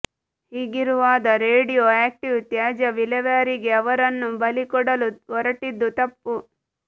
ಹೀಗಿರುವಾದ radioactive ತ್ಯಾಜ್ಯ ವಿಲೇವಾರಿಗೆ ಅವರನ್ನು ಬಲಿ ಕೊಡಲು ಹೊರಟಿದ್ದು ತಪ್ಪು